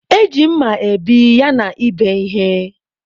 E ji mma ebi yana ịbe ihe.